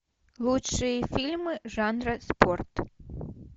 лучшие фильмы жанра спорт